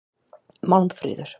Málmfríður